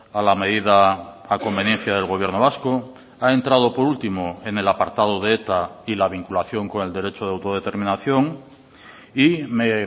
a la medida a conveniencia del gobierno vasco ha entrado por último en el apartado de eta y la vinculación con el derecho de autodeterminación y me